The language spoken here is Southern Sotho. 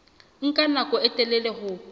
nka nako e telele ho